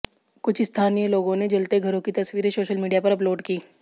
कुछ स्थानीय लोगों ने जलते घरों की तस्वीरें सोशल मीडिया पर अपलोड कीं